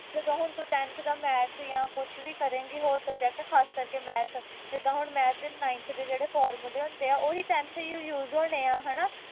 ਜਦੋਂ ਹੁਣ ਤੂੰ tenth ਦਾ math ਜਾਂ ਕੁਛ ਵੀ ਕਰੇਗੀ ਹੋਰ subject ਖਾਸ ਕਰਕੇ math ਜਿੱਦਾ ਹੁਣ math ਦੇ ninth ਦੇ formula ਹੁੰਦੇ ਆ ਉਹੀ tenth ਯੂ use ਹੁੰਦੇ ਆ